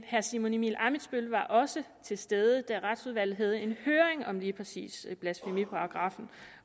herre simon emil ammitzbøll var også til stede da retsudvalget havde en høring om lige præcis blasfemiparagraffen